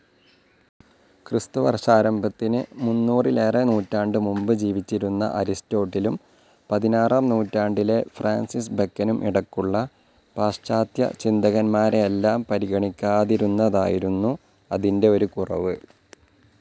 ക്രിസ്തുവർഷാരംഭത്തിനു മൂന്നിലേറെനൂറ്റാണ്ടുമുമ്പ് ജീവിച്ചിരുന്ന അരിസ്റ്റോട്ടിലും പതിനാറാം നൂറ്റാണ്ടിലെ ഫ്രാൻസിസ് ബെക്കനും ഇടയ്ക്കുള്ള പാശ്ചാത്യചിന്തകന്മാരെയെല്ലാം പരിഗണിക്കാതിരുന്നതായിരുന്നു അതിൻ്റെ ഒരു കുറവ്.